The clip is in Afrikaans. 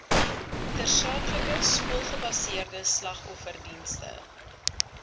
tersaaklike skoolgebaseerde slagofferdienste